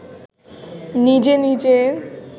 নিজে নিজে